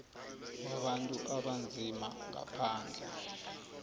wabantu abanzima ngaphandle